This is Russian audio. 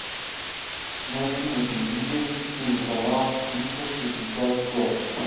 найди на телевизоре телеканал триста шестьдесят пять